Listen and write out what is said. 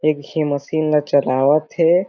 एक झी मशीन ला चलावत हे।